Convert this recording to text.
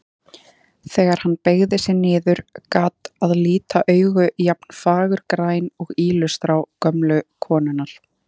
Þegar hann beygði sig niður gat að líta augu jafn fagurgræn og ýlustrá gömlu konunnar.